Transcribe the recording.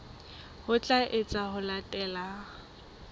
ho tla etswa ho latela